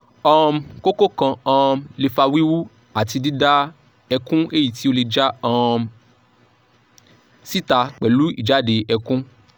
um koko kan um le fa wiwu ati dida ekun eyiti o le ja um sita pelu ijade ekun